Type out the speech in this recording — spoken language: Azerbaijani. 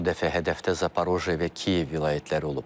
Bu dəfə hədəfdə Zaporojye və Kiyev vilayətləri olub.